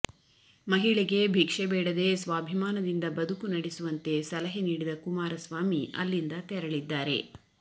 ಮಹಿಳೆಗೆ ಭಿಕ್ಷೆ ಬೇಡದೇ ಸ್ವಾಭಿಮಾನದಿಂದ ಬದುಕು ನಡೆಸುವಂತೆ ಸಲಹೆ ನೀಡಿದ ಕುಮಾರಸ್ವಾಮಿ ಅಲ್ಲಿಂದ ತೆರಳಿದ್ದಾರೆ